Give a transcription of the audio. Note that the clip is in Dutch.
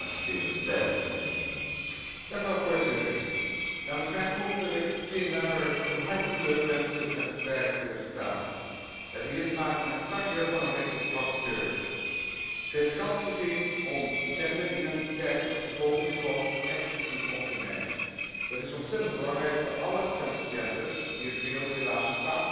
Voorzitter, namens mijn fractie wil ik Jean Lambert van harte gelukwensen met het bereikte resultaat. We hebben hier te maken met een kanjer van een rapporteur. Zij heeft kans gezien om genderidentiteit als vervolgingsgrond expliciet op te nemen. Dat is ontzettend belangrijk voor alle transgenders, die in de wereld helaas vaak vervolgd worden alleen maar voor wie ze zijn.